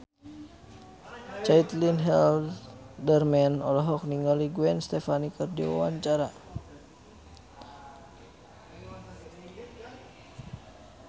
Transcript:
Caitlin Halderman olohok ningali Gwen Stefani keur diwawancara